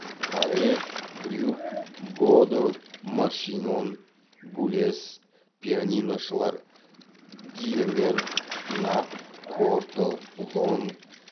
паре брюк бодо маршинон булез пианиношылар дьемер нат корто лонг